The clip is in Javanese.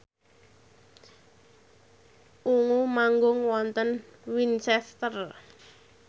Ungu manggung wonten Winchester